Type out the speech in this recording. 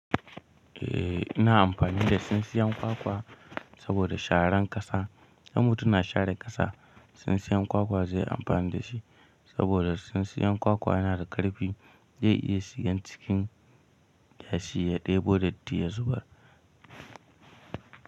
Eh, ina amfani da tsintsiyan kwakwa saboda sharan ƙasa. In mutum na share ƙasa, tsintsiyan kwakwa zai amfani da shi saboda tsintsiyan kwakwa yana da ƙarfi zai iya shigan cikin yashi ya ɗebo datti ya zubar.